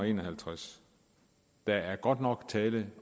en og halvtreds der er godt nok tale